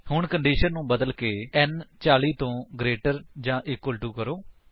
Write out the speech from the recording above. ਹੁਣ ਕੰਡੀਸ਼ਨ ਨੂੰ ਬਦਲਕੇ n 40 ਤੋਂ ਗ੍ਰੇਟਰ ਜਾਂ ਇਕੁਅਲ ਟੋ ਕਰੋ